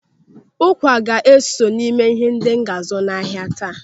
Ụkwa ga-eso n'ime ihe ndị m ga-azụ n'ahia taa.